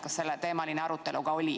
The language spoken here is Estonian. Kas selleteemaline arutelu oli?